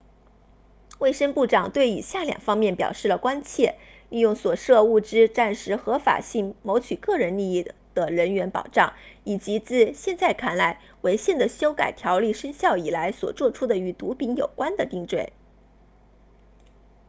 卫生部长对以下两方面表示了关切利用所涉物质暂时合法性谋取个人利益的人员保障以及自现在看来违宪的修改条例生效以来所作出的与毒品有关的定罪